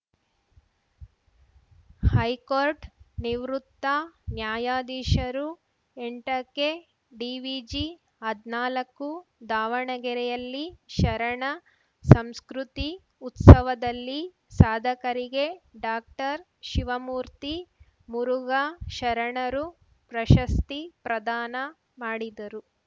high court ನಿವೃತ್ತ ನ್ಯಾಯಾಧೀಶರು ಎಂಟಕ್ಕೆ ಡಿವಿಜಿ ಹದ್ ನಾಲಕ್ಕು ದಾವಣಗೆರೆಯಲ್ಲಿ ಶರಣ ಸಂಸ್ಕೃತಿ ಉತ್ಸವದಲ್ಲಿ ಸಾಧಕರಿಗೆ ಡಾಕ್ಟರ್ಶಿವಮೂರ್ತಿ ಮುರುಘಾ ಶರಣರು ಪ್ರಶಸ್ತಿ ಪ್ರದಾನ ಮಾಡಿದರು